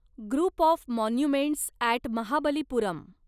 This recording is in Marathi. group of monuments at Mahabalipuram